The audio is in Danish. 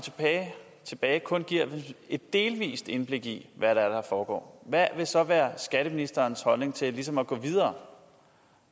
tilbage kun giver et delvist indblik i hvad det er der foregår hvad vil så være skatteministerens holdning til ligesom at gå videre